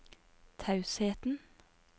tausheten